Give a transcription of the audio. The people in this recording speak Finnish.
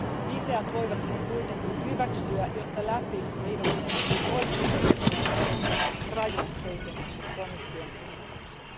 Vihreät voivat sen kuitenkin hyväksyä, jotta läpi eivät menisi oikeistoryhmien ehdottamat rajut heikennykset komission ehdotukseen.